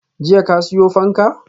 Jiya ka siyo fanka?